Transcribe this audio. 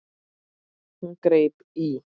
Hún greip í